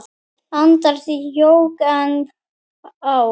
aldar jók enn á.